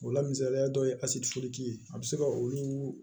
O la misaliya dɔ ye ye a bɛ se ka olu